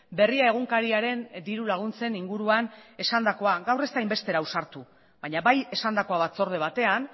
berria egunkariaren diru laguntzen inguruan esandakoa gaur ez da hain bestera ausartu baina bai esandakoa batzorde batean